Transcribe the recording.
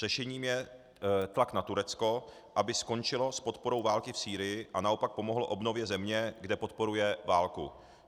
Řešením je tlak na Turecko, aby skončilo s podporou války v Sýrii a naopak pomohlo obnově země, kde podporuje válku.